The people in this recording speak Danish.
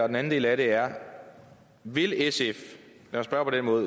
den anden del af det er vil sf